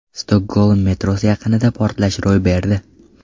Stokgolm metrosi yaqinida portlash ro‘y berdi.